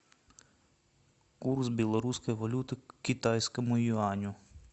курс белорусской валюты к китайскому юаню